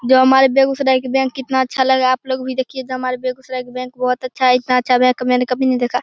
जो हमारे बेगुसराय के बैंक कितना अच्छा लग रहा है। आप लोग भी देखिये जो हमारे बेगुसराय का बैंक बहुत अच्छा है। इतना अच्छा बैंक मैंने कभी नही देखा।